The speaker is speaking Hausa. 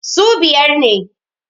su biyar ne